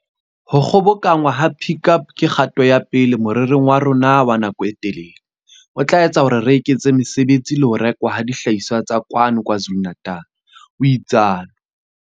Ho kgobokanngwa ha Pik Up ke kgato ya pele morerong wa rona wa nako e telele, o tla etsa hore re eketse mesebetsi le ho rekwa ha dihlahiswa tsa kwano KwaZulu-Natal, o itsalo.